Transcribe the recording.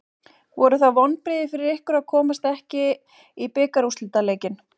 Voru það vonbrigði fyrir ykkur að komast ekki í bikarúrslitaleikinn?